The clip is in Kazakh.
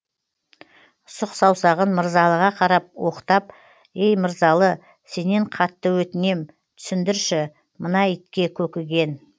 сұқ саусағын мырзалыға қарап оқтап ей мырзалы сенен қатты өтінем түсіндірші мына итке көкіген